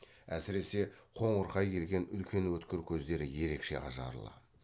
әсіресе қоңырқай келген үлкен өткір көздері ерекше ажарлы